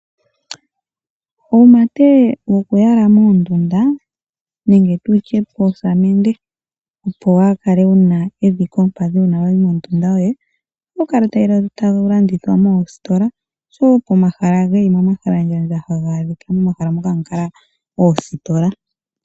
Uumate wokuyala moondunda nenge poosamende opo omuntu kaa kale ena omavi koompadhi uuna tayi mondunda, ohawu landithwa moositola oshowo pomahala geli momahalandjandja pomahala haga kala oositola.